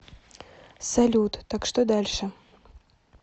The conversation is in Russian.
салют так что дальше